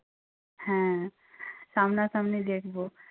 হ্যাঁ সামনাসামনি দেখবো।